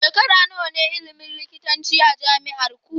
Shekara nawa ne ilimin likitanci a jami'arku?